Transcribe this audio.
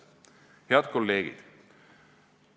" Head kolleegid!